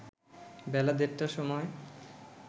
বেলা দেড়টার সময়